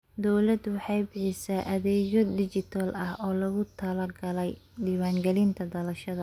Dawladdu waxay bixisaa adeegyo dhijitaal ah oo loogu talagalay diiwaangelinta dhalashada.